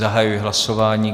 Zahajuji hlasování.